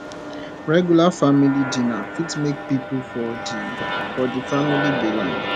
regular family dinner fit make pipo for di for di family belong